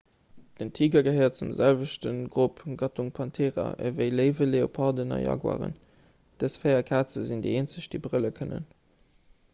den tiger gehéiert zum selwechte grupp gattung panthera ewéi léiwen leoparden a jaguaren. dës véier kaze sinn déi eenzeg déi brëlle kënnen